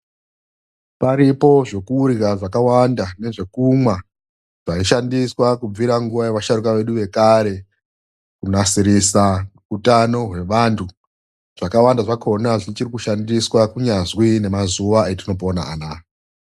Paripo zvekurya zvakawanda nezvekumwa zvaishandiswa kubvira nguva yevasharuka vedu vekare kunasirisa hutano hwevandu. Zvakawanda zvakona zvichiri kushandiswa kunyazwi namazuva etinopona anaaya.